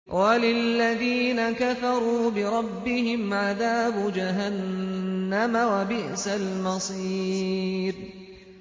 وَلِلَّذِينَ كَفَرُوا بِرَبِّهِمْ عَذَابُ جَهَنَّمَ ۖ وَبِئْسَ الْمَصِيرُ